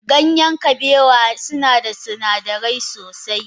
Ganyen kabewa suna da sinadirai sosai.